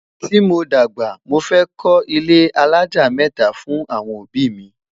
tí mọ dàgbà, mọ fẹ ko ilé alájá mẹta fún awọn òbí mi